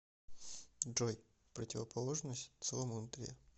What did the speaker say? джой противоположность целомудрие